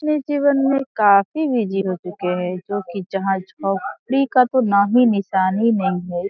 अपने जीवन में काफी बिजी हो चुके हैं जो की फ्री का तो नाम ही निशान ही नहीं है।